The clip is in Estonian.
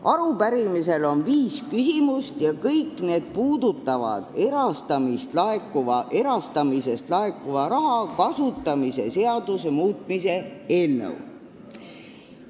Arupärimises on viis küsimust ja kõik need puudutavad erastamisest laekuva raha kasutamise seaduse muutmise eelnõu.